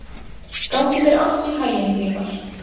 Gangi þér allt í haginn, Grímar.